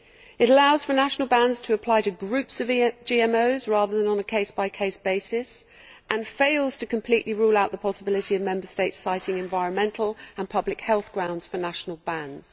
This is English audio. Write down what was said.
It allows for national bans to apply to groups of GMOs, rather than on a case by case basis, and fails to completely rule out the possibility of Member States citing environmental and public health grounds for national bans.